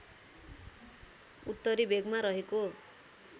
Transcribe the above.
उत्तरी भेगमा रहेको